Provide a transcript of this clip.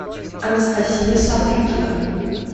анастасия сапрыкина